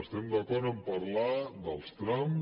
estem d’acord a parlar dels trams